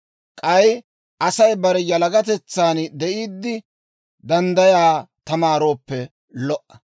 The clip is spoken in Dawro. K'ay Asay bare yalagatetsan de'iiddi, danddayaa tamaarooppe lo"a.